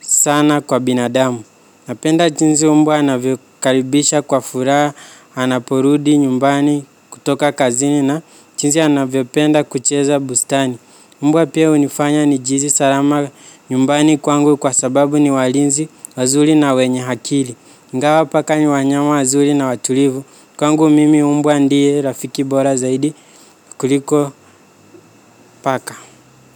sana kwa binadamu. Napenda jinsi umbwa anavyo karibisha kwa furaha, anaporudi nyumbani kutoka kazini na jinsi anavyopenda kucheza bustani. Mbwa pia hunifanya nijiisi salama nyumbani kwangu kwa sababu ni walinzi, wazuri na wenye akili. Ingawa paka ni wanyama wazuri na watulivu kwangu mimi mbwa ndiye Rafiki Bora zaidi kuliko paka.